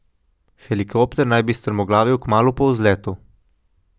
Helikopter naj bi strmoglavil kmalu po vzletu.